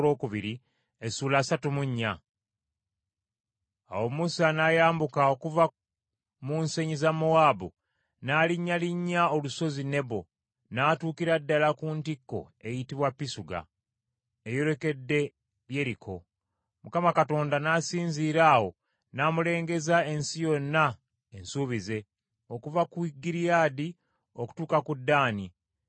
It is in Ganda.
Awo Musa n’ayambuka okuva mu nsenyi za Mowaabu, n’alinnyalinnya Olusozi Nebo, n’atuukira ddala ku ntikko eyitibwa Pisuga, eyolekedde Yeriko. Mukama Katonda n’asinziira awo n’amulengeza ensi yonna ensuubize: okuva ku Giriyaadi okutuuka ku Ddaani,